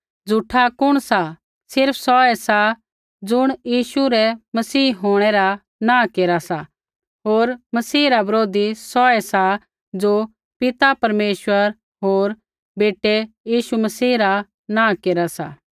झूठा कुण सा सिर्फ़ सौ ऐ ज़ुण यीशु रै मसीह होंणै रा नाँ केरा सा होर मसीह रा बरोधी सौ ऐसा ज़ो पिता परमेश्वर होर बेटै यीशु मसीह रा नाँ केरा सा